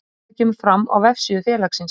Þetta kemur fram á vefsíðu félagsins